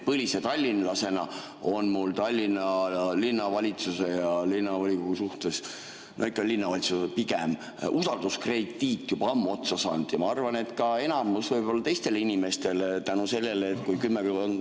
Põlise tallinlasena on mul Tallinna Linnavalitsuse ja linnavolikogu suhtes – no pigem ikka linnavalitsuse suhtes – usalduskrediit juba ammu otsa saanud ja ma arvan, et võib-olla ka enamusel teistel inimestel.